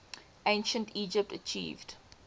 ancient egypt achieved